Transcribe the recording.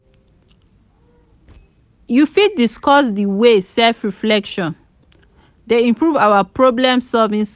you fit discuss di ways self-reflection dey improve our problem-solving